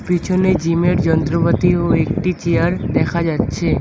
পিছনে জিমের যন্ত্রপাতি ও একটি চেয়ার দেখা যাচ্ছে।